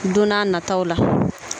Don n'a nataw la.